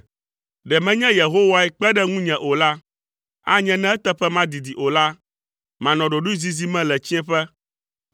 Ɖe menye Yehowae kpe ɖe ŋunye o la, anye ne eteƒe madidi o la, manɔ ɖoɖoezizi me le tsiẽƒe.